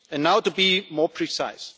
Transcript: And now to be more precise.